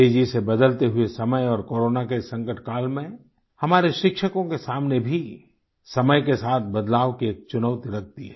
तेज़ी से बदलते हुए समय और कोरोना के संकट काल में हमारे शिक्षकों के सामने भी समय के साथ बदलाव की एक चुनौती लगती है